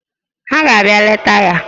Ha ga-abịa leta ya